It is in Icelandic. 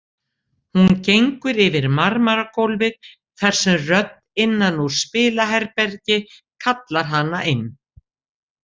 Hún gengur yfir marmaragólfið þar sem rödd innan úr spilaherbergi kallar hana inn.